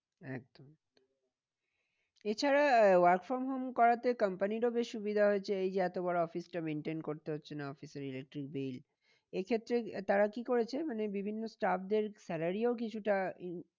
একদম এছাড়া work from home করাতে company র ও বেশ সুবিধা হয়েছে। এই যে এত বড়ো office টা maintain করতে হচ্ছে না office এর electric bill এ ক্ষেত্রে তারা কি করেছে মানে বিভিন্ন staff দের salary ও কিছুটা